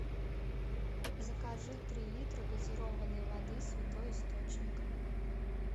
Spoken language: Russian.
закажи три литра газированной воды святой источник